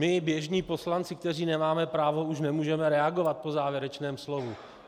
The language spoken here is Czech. My, běžní poslanci, kteří nemáme právo, už nemůžeme reagovat po závěrečném slově.